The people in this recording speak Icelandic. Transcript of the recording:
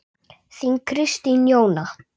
Þín Kristín Jóna.